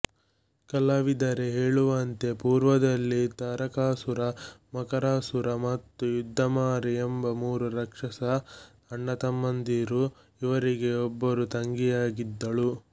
ಕಲಾವಿದರೆ ಹೇಳುವಂತೆ ಪೂರ್ವದಲ್ಲಿ ತಾರಕಾಸುರ ಮಕರಾಸುರ ಮತ್ತು ಯುದ್ಧಮಾರಿ ಎಂಬ ಮೂರು ರಾಕ್ಷಸ ಅಣ್ಣತಮ್ಮಂದಿರು ಇವರಿಗೆ ಒಬ್ಬಳು ತಂಗಿಯಿದ್ದಳು